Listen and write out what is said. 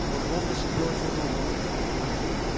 он злобно шипел ему на ухо